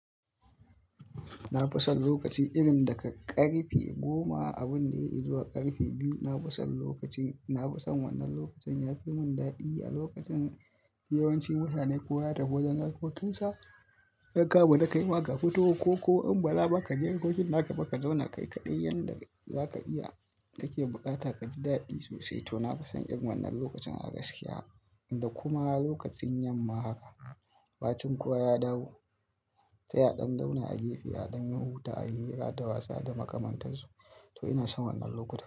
Na fi son lokaci irin daga karfe goma abin da yai izuwa karfe biyu. Na fi son lokacin, na fi son wannan lokacin ya fi mun dadi a lokacin yawanci mutane kowa ya tafi wajen harkokinsa, yanka ba da ka yi ma ga kuturu, ko in ba laba ka je harkokin naka ba ka zauna kai kaɗai yanda zaka iya buƙata ka ji dadi sosai. To na fi son irin wannan lokacin a gaskiya inda kuma lokacin yamma haka, bacin kuwa ya dawo. Sai a ɗan zauna a gefe a ɗan yi huta, a yi hira da wasu, a ɗa makamanta su. To ina son wannan lokacin.